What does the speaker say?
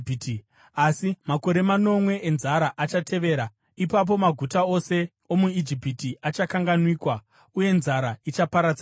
asi makore manomwe enzara achaatevera. Ipapo maguta ose omuIjipiti achakanganwikwa, uye nzara ichaparadza nyika.